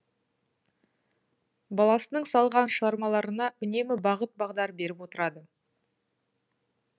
баласының салған шығармаларына үнемі бағыт бағдар беріп отырады